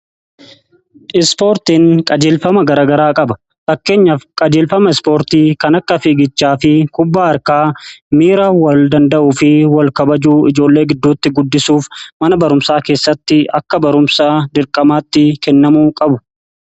Ispoortiin qajeelfama garagaraa qaba. Fakkeenyaf qajeelfama ispoortii kan akka fiigichaa fi kubbaa harkaa miira wal danda'uu fi wal kabajuu ijoollee gidduutti guddisuuf mana barumsaa keessatti akka barumsaa dirqamaatti kennamuu qabu.